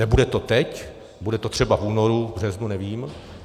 Nebude to teď, bude to třeba v únoru, v březnu, nevím.